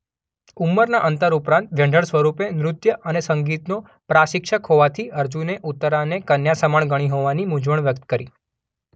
ઉંમરના અંતર ઉપરાંત વ્યંઢળ સ્વરૂપે નૃત્ય અને સંગીતનો પ્રાશિક્ષક હોવાથી અર્જુને ઉત્તરાને કન્યા સમાન ગણી હોવાથી મૂંઝવણ વ્યક્ત કરી.